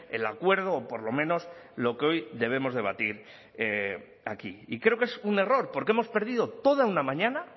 el acuerdo o por lo menos lo que hoy debemos debatir aquí y creo que es un error porque hemos perdido toda una mañana